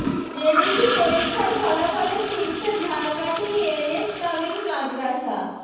JDC পরীক্ষার ফলাফলে শীর্ষে ঝালকাঠি এন এস কামিল মাদরাসা